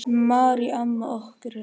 Marý amma okkar er látin.